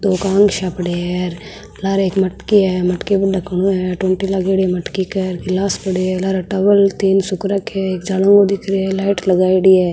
दो कांगसिया पड़िया है लारे एक मटकी है मटकी को ढकनो है टूंटी लगेड़ी है मटकी के गिलास पड़े है लारे टॉवेल तीन सूख रखे है एक जनो और दिख रहे है लाइट लगायेड़ी है।